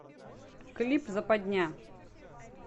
клип западня